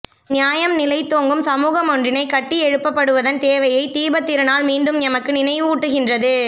நியாயம் நிலைத்தோங்கும் சமூகமொன்றினைக் கட்டியெழுப்பப்படுவதன் தேவையை தீபத்திரு நாள் மீண்டும் எமக்கு நினைவூட்டுகின்றது